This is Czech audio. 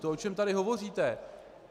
To, o čem tady hovoříte.